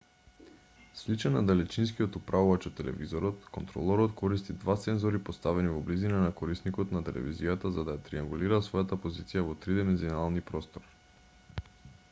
сличен на далечинскиот управувач од телевизорот контролорот користи два сензори поставени во близина на корисникот на телевизијата за да ја триангулира својата позиција во три димензионални простор